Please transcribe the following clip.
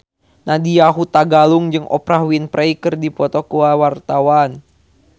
Nadya Hutagalung jeung Oprah Winfrey keur dipoto ku wartawan